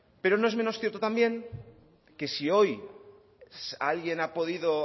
pero no es menos cierto también que si hoy alguien ha podido